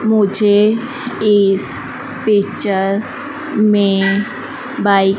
मुझे इस पिक्चर में बाइक --